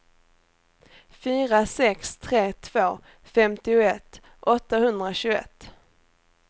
fyra sex tre två femtioett åttahundratjugoett